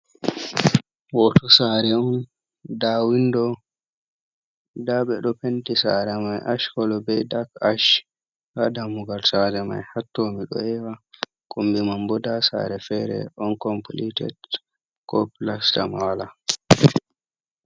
Hoto sare on nda windo, nda ɓe ɗo penti sare mai ash kolo bei dak ash, ha dammugal sare mai ha to mido ewa, kombi man bo nda sare fere on complited ko plasta ma wala.